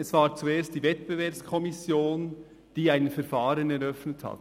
Es war zuerst die WEKO, die ein Verfahren eröffnet hat.